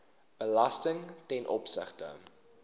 belasting ten opsigte